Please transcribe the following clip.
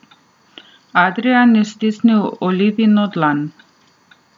Adrijan je stisnil Olivino dlan.